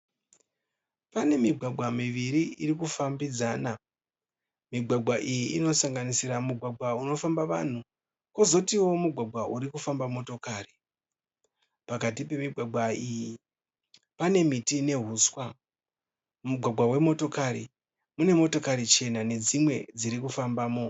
Pane migwagwa miviri irikufambidzana. Migwagwa iyi inosanganisira mugwagwa unofamba vanhu pozotiwo mugwagwa uri unofamba motokari. Pakati pemigwagwa iyi pane miti nehuswa. Mugwagwa wemotokari, mune motokari chena nedzimwe dzirikufambamo.